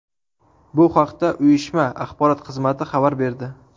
Bu haqda uyushma axborot xizmati xabar berdi .